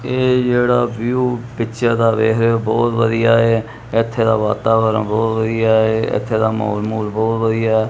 ਇਹ ਜਿਹੜਾ view picture ਦਾ ਵੇਖ ਰਹੇ ਹੋ ਬਹੁਤ ਵਧੀਆ ਇਥੇ ਦਾ ਵਾਤਾਵਰਨ ਬਹੁਤ ਵਧੀਆ ਇੱਥੇ ਦਾ ਮਾਹੌਲ ਮਾਹੁਲ ਬਹੁਤ ਵਧੀਆ ਐ।